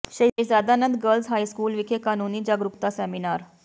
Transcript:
ਸ਼ਹਿਜ਼ਾਦਾ Nand girls high school ਵਿਖੇ ਕਾਨੂੰਨੀ ਜਾਗਰੂਕਤਾ ਸੈਮੀਨਾਰ